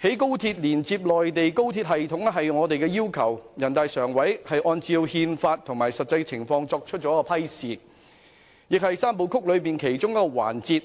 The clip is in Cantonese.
興建高鐵連接內地高鐵系統是我們的要求，由人大常委會按照《中華人民共和國憲法》和實際情況作出批示，亦是"三步走"其中一個環節。